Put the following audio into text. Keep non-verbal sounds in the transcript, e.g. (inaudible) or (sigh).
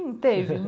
Teve. (laughs)